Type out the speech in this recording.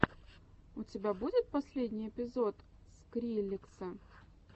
у тебя будет последний эпизод скриллекса